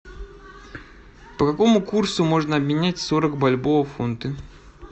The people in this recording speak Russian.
по какому курсу можно обменять сорок бальбоа в фунты